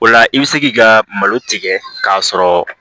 O la i bɛ se k'i ka malo tigɛ k'a sɔrɔ